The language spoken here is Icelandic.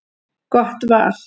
Gott val.